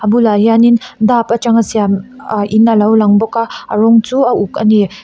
bulah hianin dap a tanga siam ahh in alo lang bawk a a rawng chu a uk a ni.